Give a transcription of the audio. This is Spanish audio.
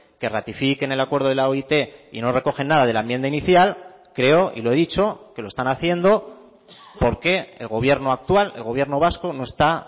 que ratifique en el acuerdo de la oit y no recogen nada de la enmienda inicial creo y lo he dicho que lo están haciendo porque el gobierno actual el gobierno vasco no está